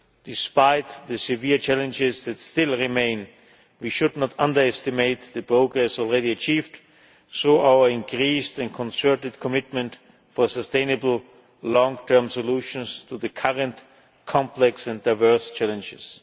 way. Despite the severe challenges that still remain, we should not underestimate the progress already achieved, hence our increased and concerted commitment for sustainable long term solutions to the current complex and diverse challenges.